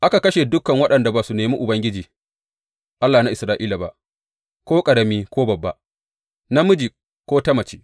Aka kashe dukan waɗanda ba su nemi Ubangiji, Allah na Isra’ila ba, ko ƙarami ko babba, namiji ko ta mace.